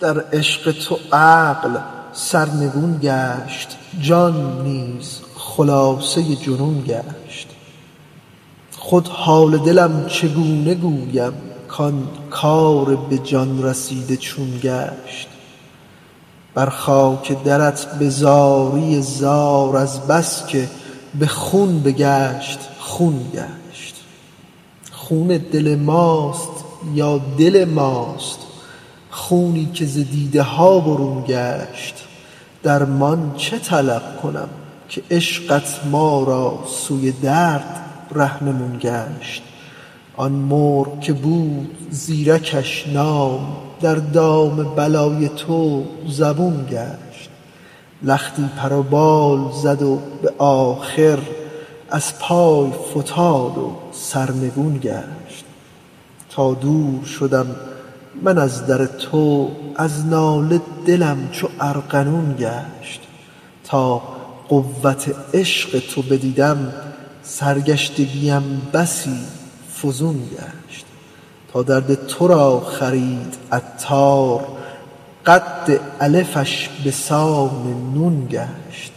در عشق تو عقل سرنگون گشت جان نیز خلاصه جنون گشت خود حال دلم چگونه گویم کان کار به جان رسیده چون گشت بر خاک درت به زاری زار از بس که به خون بگشت خون گشت خون دل ماست یا دل ماست خونی که ز دیده ها برون گشت درمان چه طلب کنم که عشقت ما را سوی درد رهنمون گشت آن مرغ که بود زیرکش نام در دام بلای تو زبون گشت لختی پر و بال زد به آخر از پای فتاد و سرنگون گشت تا دور شدم من از در تو از ناله دلم چو ارغنون گشت تا قوت عشق تو بدیدم سرگشتگیم بسی فزون گشت تا درد تو را خرید عطار قد الفش بسان نون گشت